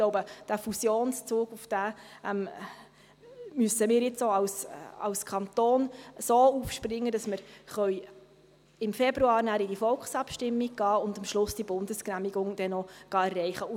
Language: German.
Ich glaube, auf diesen Fusionszug müssen wir nun auch als Kanton so aufspringen, dass wir im Februar in die Volksabstimmung gehen und am Schluss dann noch die Bundesgenehmigung erreichen gehen.